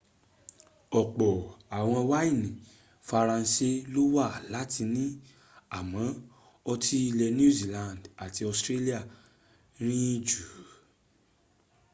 ọ̀pọ̀ àwọn wáìnì faranse ló wà láti ni àmọ ọtí́ ilẹ̀ new zealand àti australia rìn jù